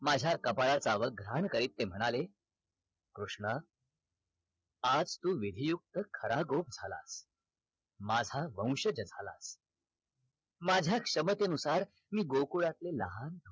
माझ्या कपळा अवघरान करीत ते म्हणाल कृष्णा आज तु विधी युक्त खरा गोप झालास माझा वंशज झालास माझ्या क्षमते नुसार मी गोकुळातले लहान